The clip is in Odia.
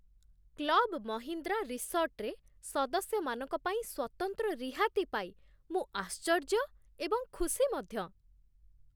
କ୍ଲବ୍ ମହିନ୍ଦ୍ରା ରିସର୍ଟରେ ସଦସ୍ୟମାନଙ୍କ ପାଇଁ ସ୍ୱତନ୍ତ୍ର ରିହାତି ପାଇ ମୁଁ ଆଶ୍ଚର୍ଯ୍ୟ ଏବଂ ଖୁସି ମଧ୍ୟ!